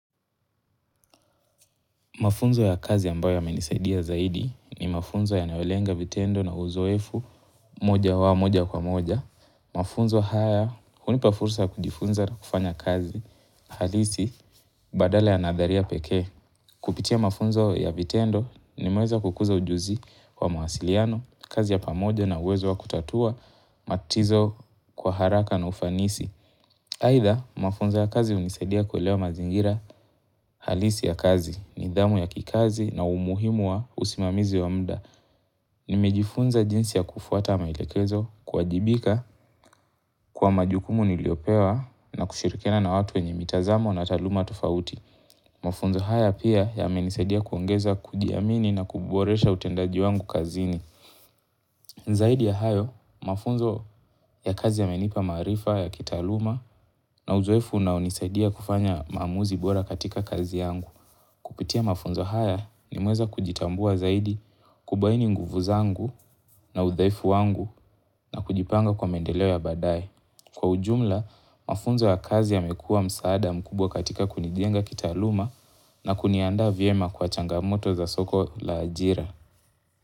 Mafunzo ya kazi ambayo yamenisaidia zaidi ni mafunzo yanayo lenga vitendo na uzoefu moja wa moja kwa moja. Mafunzo haya hunipa fursa ya kujifunza na kufanya kazi halisi badala ya nadharia pekee. Kupitia mafunzo ya vitendo nimeweza kukuza ujuzi wa mawasiliano, kazi ya pamoja na uwezo wa kutatua matizo kwa haraka na ufanisi. Aidha, mafunzo ya kazi hunisadia kuelewa mazingira halisi ya kazi nidhamu ya kikazi na umuhimu wa usimamizi wa muda. Nimejifunza jinsi ya kufuata maelekezo kuwajibika kwa majukumu niliopewa na kushirikiana na watu wenye mitazamo na taaluma tofauti. Mafunzo haya pia yamenisadia kuongeza kujiamini na kuboresha utendaji wangu kazini. Zaidi ya hayo, mafunzo ya kazi yamenipa maarifa ya kitaaluma na uzoefu na hunisaidia kufanya maamuzi bora katika kazi yangu. Kupitia mafunzo haya nimeweza kujitambua zaidi kubaini nguvu zangu na udhaifu wangu na kujipanga kwa maendeleo ya baadaye. Kwa ujumla, mafunzo ya kazi yamekuwa msaada mkubwa katika kunijenga kitaaluma na kuniandaa vyema kwa changamoto za soko la ajira.